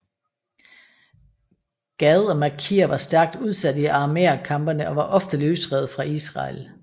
Gad og Makir var stærkt udsat i aramæerkampene og var ofte løsrevet fra Israel